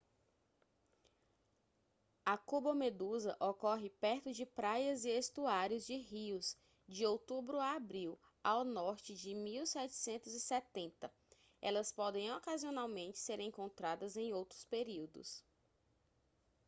a cubomedusa ocorre perto de praias e estuários de rios de outubro a abril ao norte de 1770 elas podem ocasionalmente ser encontradas em outros períodos